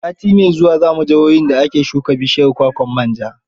Sati mai zuwa za mu jihohin da ake shuka bishiyar kwakwar manja.